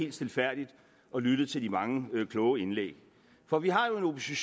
helt stilfærdigt og lyttet til de mange kloge indlæg for vi har